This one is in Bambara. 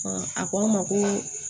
a ko n ma ko